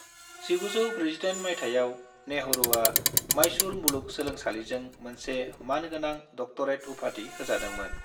1948 माइथायाव, नेहरूआ माइसूर मुलुग सोलोंसालिजों मोनसे मान गोनां डक्टरेट उपाधि होजादोंमोन।